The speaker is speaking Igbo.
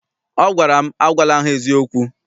Ọ gwara m, agwala ha eziokwu!